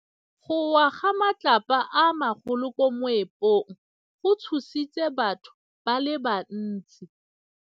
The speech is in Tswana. Go wa ga matlapa a magolo ko moepong go tshositse batho ba le bantsi.